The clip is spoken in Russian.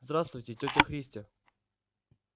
здравствуйте тётя христя